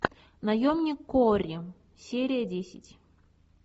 наемник куорри серия десять